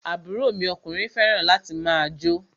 Àbúrò mi ọkùnrin fẹràn láti máà jó.